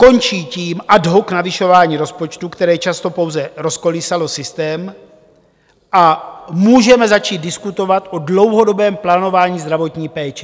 Končí tím ad hoc navyšování rozpočtu, které často pouze rozkolísalo systém, a můžeme začít diskutovat o dlouhodobém plánování zdravotní péče.